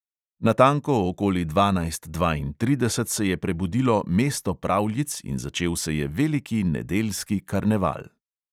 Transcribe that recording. Natanko okoli dvanajst dvaintrideset se je prebudilo mesto pravljic in začel se je veliki nedeljski karneval.